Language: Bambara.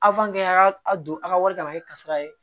a y'a don a ka wari kama a ye kasara ye